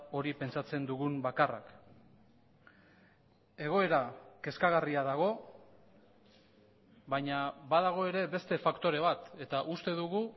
hori pentsatzen dugun bakarrak egoera kezkagarria dago baina badago ere beste faktore bat eta uste dugu